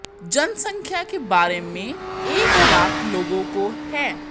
जनसंख्या के बारे में एक लाख लोगों को है